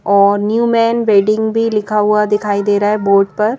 और new man wedding भी लिखा हुआ दिखाई दे रहा है बोर्ड पर--